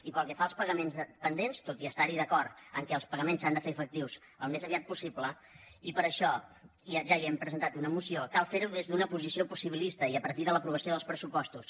i pel que fa als pagaments pendents tot i estar hi d’acord que els pagaments s’han de fer efectius al més aviat possible i per això ja hi hem presentat una moció cal fer ho des d’una posició possibilista i a partir de l’aprovació dels pressupostos